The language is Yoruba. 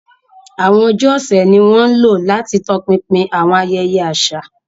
Àwọn ọjọ́ ọ̀sẹ̀ ni wọ́n ń lò láti tọpinpin àwọn ayẹyẹ àṣà.